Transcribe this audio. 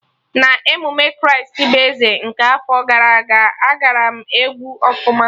Na emume Kraịst bụ Eze nke afọ gara aga, agbaram egwu ọfụma